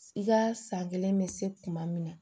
I ka san kelen bɛ se kuma min na